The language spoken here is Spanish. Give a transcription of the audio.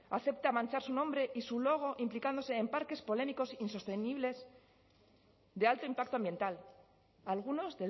acepta manchar su nombre y su logo implicándose en parques polémicos insostenibles de alto impacto ambiental algunos